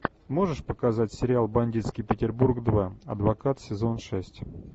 можешь показать сериал бандитский петербург два адвокат сезон шесть